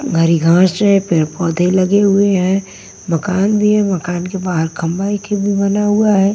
घरी घास हैं पेड़ पौधे लगे हुए हैं मकान भी है मकान के बाहर खंबाई के भी बना हुआ है।